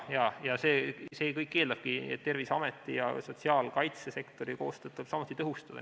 Jaa, see kõik eeldabki seda, et Terviseameti ja sotsiaalkaitsesektori koostööd tuleb samuti tõhustada.